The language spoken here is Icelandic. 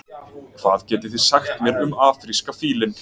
Hvað getið þið sagt mér um afríska fílinn?